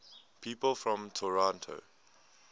people from toronto